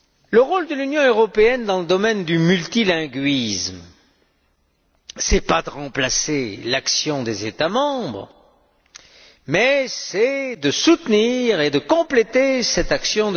Le rôle de l'Union européenne dans le domaine du multilinguisme, ce n'est pas de remplacer l'action des États membres mais c'est de soutenir et de compléter cette action.